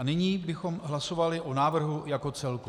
A nyní bychom hlasovali o návrhu jako celku.